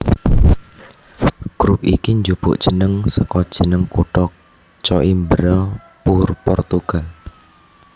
Grup iki njupuk jeneng saka jeneng kutha Coimbra Portugal